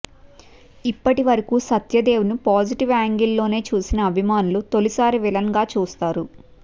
ఇప్పటివరకు సత్యదేవ్ను పాజిటివ్ యాంగిల్లోనే చూసిన అభిమానులు తొలిసారి విలన్గా చూస్తారు